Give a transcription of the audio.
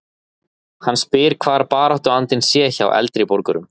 Hann spyr hvar baráttuandinn sé hjá eldri borgurum?